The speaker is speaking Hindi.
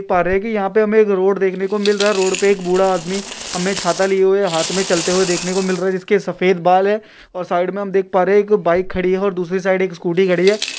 देख पा रहे की यहा पे एक रोड देखने को मिल रहा है रोड पे एक बूढ़ा आदमी हमे छाता लिए हाथ मे चलते हुए देखने को मिल रहा है जिसके सफेद बाल है और साईड मे हम देख पा रहे है की बाइक खड़ी है और दूसरे साइड एक स्कूटी खड़ी है।